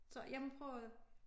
Så jeg må prøve at